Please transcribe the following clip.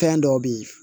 Fɛn dɔw be ye